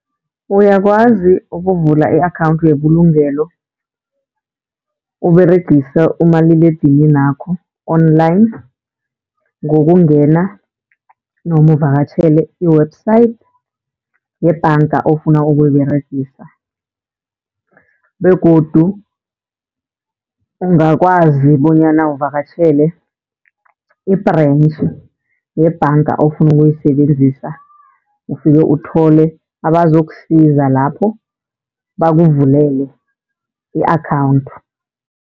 Uyakwazi ukuvula i-akhawunthi yebulugelo Uberegisa umaliledininakho online, ngokungena noma uvakatjhele i-website yebhanga ofuna ukuyiberegisa. Begodu ungakwazi bonyana uvakatjhele i-branch yebhanga ofuna ukuyisebenzisa, ufike uthole abazokusiza lapho bakuvulele i-akhawunthu.